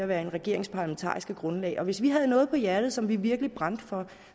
være en regerings parlamentariske grundlag og hvis vi havde noget på hjerte som vi virkelig brændte for